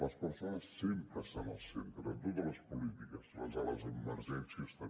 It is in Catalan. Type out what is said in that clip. les persones sempre estan al centre de totes les polítiques les de les emergències també